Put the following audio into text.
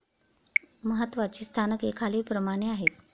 महात्वाची स्थानके खालीललप्रमाणे आहेत.